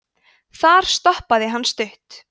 þar stoppaði hann stutt